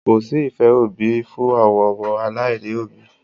Kò sí ìfé òbí fún àwọn ọmọ aláìní òbí.